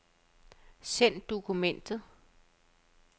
Send dokument.